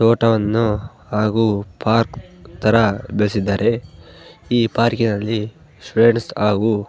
ತೋಟವನ್ನು ಹಾಗು ಪಾರ್ಕ್ ತರ ಬೆಳೆಸಿದ್ದಾರೆ ಈ ಪಾರ್ಕಿ ನಲ್ಲಿ ಫ್ರೆಂಡ್ಸ್ ಹಾಗು --